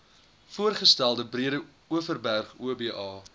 voorgestelde breedeoverberg oba